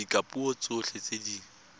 ka dipuo tsotlhe tse di